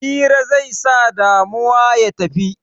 Hira zai sa damuwa ya tafi